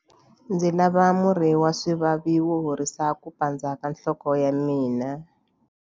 Ndzi lava murhi wa swivavi wo horisa ku pandza ka nhloko ya mina.